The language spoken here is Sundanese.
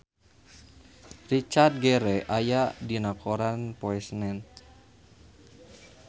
Richard Gere aya dina koran poe Senen